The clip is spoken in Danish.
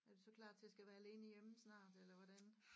Er du så klar til at skal være alene hjemme snart eller hvordan